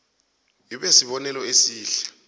ibe sibonelo esihle